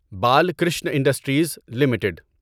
Balkrishna industries limited